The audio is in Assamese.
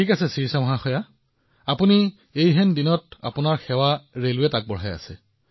আচ্ছা শিৰিষা জী আপুনি সাধাৰণ দিনতো ৰেলৱেত নিজৰ সেৱা আগবঢ়াইছে